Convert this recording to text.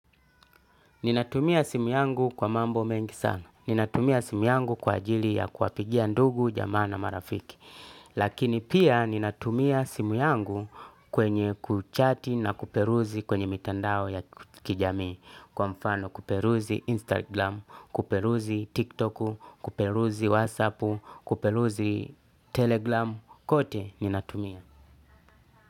Ninatumia simu yangu kwa mambo mengi sana. Ninatumia simu yangu kwa ajili ya kuapigia ndugu, jamaa na marafiki. Lakini pia ninatumia simu yangu kwenye kuchati na kuperuzi kwenye mitandao ya kijamii. Kwa mfano kuperuzi Instagram, kuperuzi TikTok, kuperuzi WhatsApp, kuperuzi Telegram. Kote ninatumia.